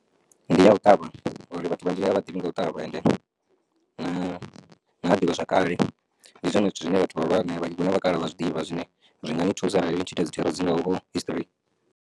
Ndi ya u ṱavha ngori vhathu vhanzhi a vha ḓivhi nga u ṱavha ende na huna ḓivha zwakale ndi zwone zwithu zwine vhathu vha hulwane vha kalaha vha zwiḓivha zwine zwi nga ni thusa arali u tshi ita dzithero dzi nga ho history.